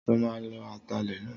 Sọ ma lo atalẹ̀ náà?